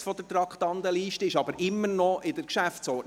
von der Traktandenliste abgesetzt, es befindet sich aber immer noch in der Geschäftsordnung.